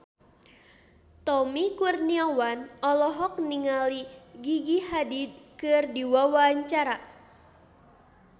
Tommy Kurniawan olohok ningali Gigi Hadid keur diwawancara